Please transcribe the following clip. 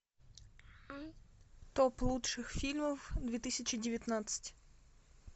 топ лучших фильмов две тысячи девятнадцать